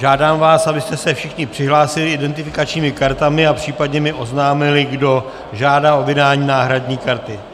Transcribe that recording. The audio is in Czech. Žádám vás, abyste se všichni přihlásili identifikačními kartami a případně mi oznámili, kdo žádá o vydání náhradní karty.